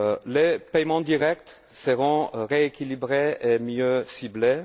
Les paiements directs seront rééquilibrés et mieux ciblés.